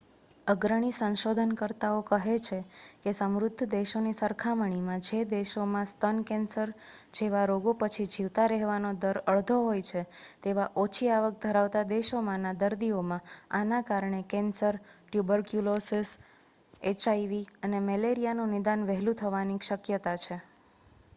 અગ્રણી સંશોધનકર્તાઓ કહે છે કે સમૃદ્ધ દેશોની સરખામણીમાં જે દેશોમાં સ્તન કેન્સર જેવા રોગો પછી જીવતા રહેવાનો દર અડધો હોય છે તેવા ઓછી આવક ધરાવતા દેશોમાંના દર્દીઓમાં આના કારણે કેન્સર ટ્યુબરક્યુલોસિસ એચઆઇવી અને મેલેરિયાનું નિદાન વહેલું થવાની શક્યતા છે